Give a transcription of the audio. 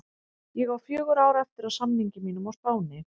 Ég á fjögur ár eftir af samningi mínum á Spáni.